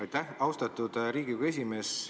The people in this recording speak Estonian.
Aitäh, austatud Riigikogu esimees!